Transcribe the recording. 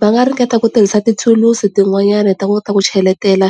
Va nga ringeta ku tirhisa thulusi tin'wanyana hi ta kota ku cheletela,